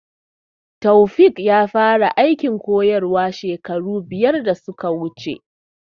Taofiq ya fara aikin koyarwa shekara biyar da suka wuce